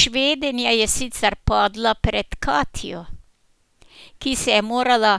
Švedinja je sicer padla pred Katjo, ki se je morala